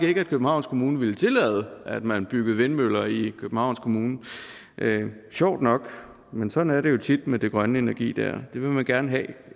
ikke at københavns kommune ville tillade at man byggede vindmøller i københavns kommune sjovt nok men sådan er det jo tit med den grønne energi den vil man gerne have